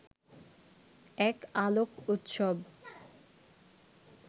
এক আলোক উৎসব